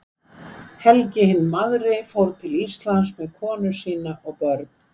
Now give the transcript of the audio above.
Helgi hinn magri fór til Íslands með konu sína og börn.